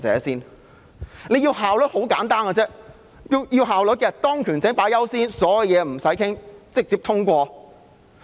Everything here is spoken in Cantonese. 想要有效率是很簡單的，以當權者優先，所有事情也無須討論，直接通過。